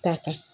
Ta kan